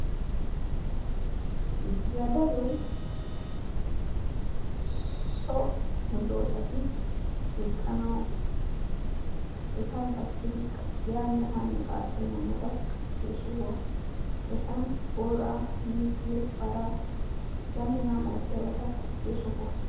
Zadaloy so medoosati eqqanawu A gattidi yaanne haanne qaaxxenna mala gattidi qachchiyo sohuwa. Etan booraa, miizziyo paraa h.h.m qachchiyo sohuwa.